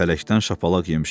Fələkdən şapalaq yemişəm.